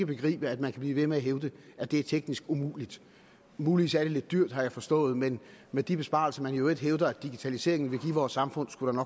begribe at man kan blive ved med at hævde at det er teknisk umuligt muligvis er det lidt dyrt det har jeg forstået men med de besparelser man i øvrigt hævder at digitaliseringen vil give vores samfund skulle